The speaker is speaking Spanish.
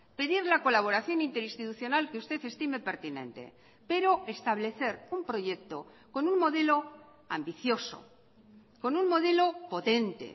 pedir la colaboración interinstitucional que usted estime pertinente pero establecer un proyecto con un modelo ambicioso con un modelo potente